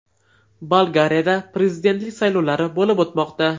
Bolgariyada prezidentlik saylovlari bo‘lib o‘tmoqda.